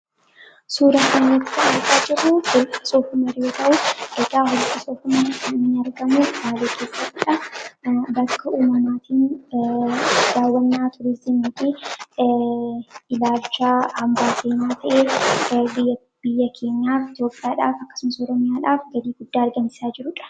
suura kana irratti argaa jirru holqa soof umar ta'uu egaa holqa soof umar kan argamuu bakka uumamaatiin daawwanaa tuuristii fi hambaa seenaa biyya keenyaaf jobbaadhaaf akkasama suura ma'aadaaf galii guddaa argamsisaa jirudha